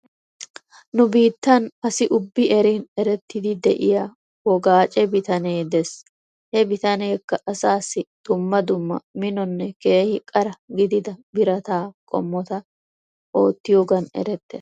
Nu biitan asi ubbi erin erettidi de'iyaa wogaache bitanee des he bitaneekka asaasi dumma dumma minonne keehi qara gidida birataa qommota oottiyoogan erettes.